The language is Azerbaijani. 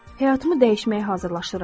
Həyatımı dəyişməyə hazırlaşıram.